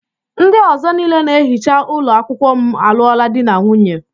Ndị ọzọ niile na-ehicha ụlọ akwụkwọ m alụọla di na nwunye.